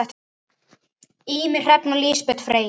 Ýmir, Hrefna og Lísbet Freyja.